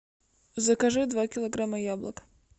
закажи два килограмма яблок